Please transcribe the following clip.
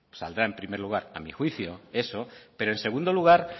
saldrá en primer lugar a mi juicio eso pero en segundo lugar